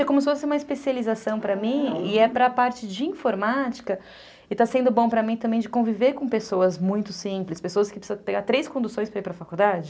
É como se fosse uma especialização para mim e é para a parte de informática e está sendo bom para mim também de conviver com pessoas muito simples, pessoas que precisam pegar três conduções para ir para a faculdade.